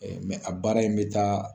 Ɛɛ a baara in be taa